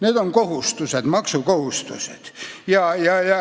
Need on kohustused, maksekohustused.